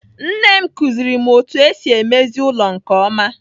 Nne m kụziri m otu esi emezi ụlọ nke ọma.